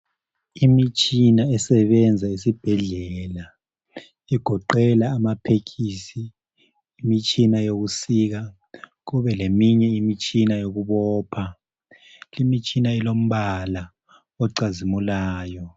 Imitshina esebenza esibhedlela igoqela amapekisi, imitshina yokusika kube leminye imitshina yokubopha. Limitshina ilombala ocazimulayo